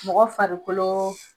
Mɔgɔ farikolo.